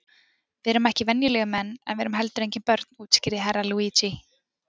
Við erum ekki venjulegir menn en við erum heldur engin börn, útskýrði Herra Luigi.